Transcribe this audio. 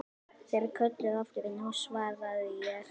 Þeir kölluðu aftur og nú svaraði ég.